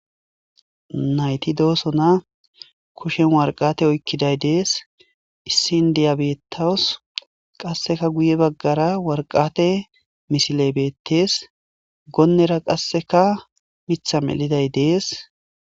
nayti doosona kushen warqate oykkiday dees issin diya beettawos qasseka guye baggara warqate misiley beettees goonnera qasseka mitha meliday dees